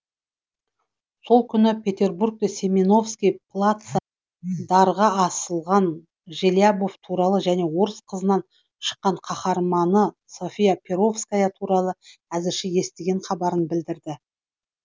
сол күні петербургте семеновский плацда дарға асылған желябов туралы және орыс қызынан шыққан қаһарманы софья перовская туралы әзірше естіген хабарын білдірді